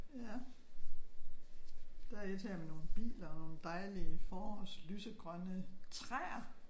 Ja. Der er et her med nogle biler og dejlige forårslysegrønne træer